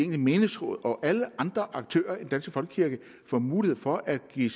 menighedsråd og alle andre aktører i den danske folkekirke får mulighed for at give